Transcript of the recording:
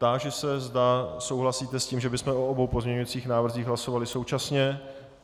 Táži se, zda souhlasíte s tím, že bychom o obou pozměňujících návrzích hlasovali současně.